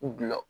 U bila